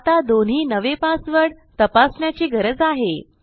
आता दोन्ही नवे पासवर्ड तपासण्याची गरज आहे